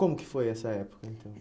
Como que foi essa época, então?